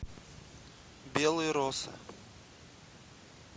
белые росы